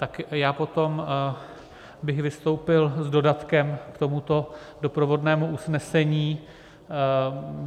Tak já potom bych vystoupil s dodatkem k tomuto doprovodnému usnesení.